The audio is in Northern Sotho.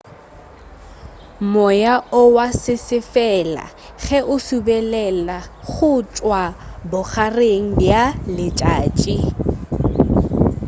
moya o wa sesefala ge o subelela go tšwa bogareng bja letšatši